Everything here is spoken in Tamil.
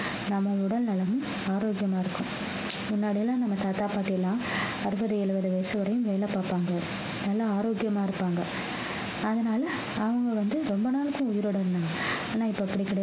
நம்ம உடல்நலமும் ஆரோக்கியமா இருக்கும் முன்னாடி எல்லாம் நம்ம தாத்தா பாட்டி எல்லாம் அறுபது எழுபது வயசு வரையும் வேலை பார்ப்பாங்க நல்லா ஆரோக்கியமா இருப்பாங்க அதனால அவங்க வந்து, ரொம்ப நாளைக்கு உயிரோட இருந்தாங்க ஆனா இப்ப அப்படி கிடையாது